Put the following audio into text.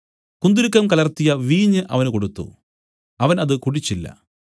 കുന്തുരുക്കം കലർത്തിയ വീഞ്ഞ് അവന് കൊടുത്തു അവൻ അത് കുടിച്ചില്ല